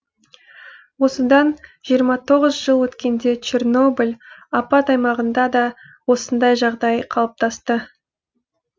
осыдан жиырма тоғыз жыл өткенде чернобыль апат аймағында да осындай жағдай қалыптасты